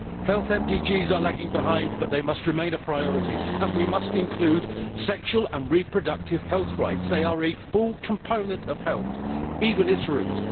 Health MDGs are lagging behind but they must remain a priority, and we must include sexual and reproductive health rights, which are a distinct component of health, and indeed at its root.